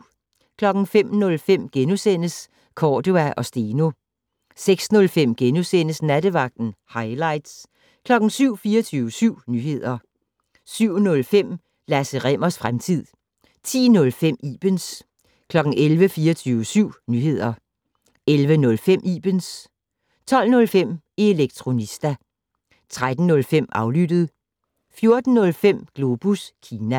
05:05: Cordua & Steno * 06:05: Nattevagten - hightlights * 07:00: 24syv Nyheder 07:05: Lasse Rimmers fremtid 10:05: Ibens 11:00: 24syv Nyheder 11:05: Ibens 12:05: Elektronista 13:05: Aflyttet 14:05: Globus Kina